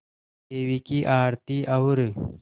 देवी की आरती और